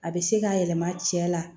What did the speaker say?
A bɛ se k'a yɛlɛma cɛ la